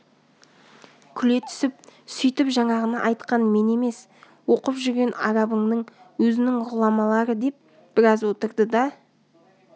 күле түсіп сөйтіп жаңағыны айтқан мен емес оқып жүрген арабыңның өзінің ғұламалары деп біраз отырды да